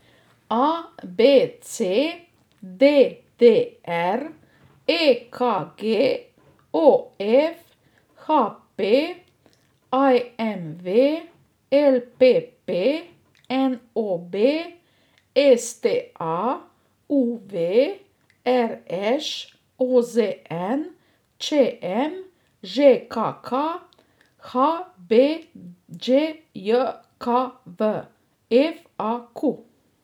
A B C; D D R; E K G; O F; H P; I M V; L P P; N O B; S T A; U V; R Š; O Z N; Č M; Ž K K; H B D J K V; F A Q.